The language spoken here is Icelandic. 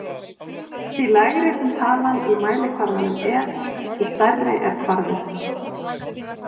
Því lægri sem talan í mælikvarðanum er, því stærri er kvarðinn.